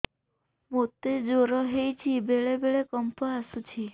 ମୋତେ ଜ୍ୱର ହେଇଚି ବେଳେ ବେଳେ କମ୍ପ ଆସୁଛି